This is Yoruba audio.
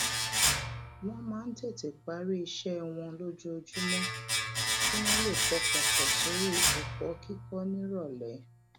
wón máa ń tètè parí iṣé wọn lójoojúmó kí wón lè pọkàn pò sórí èkó kíkó níròlé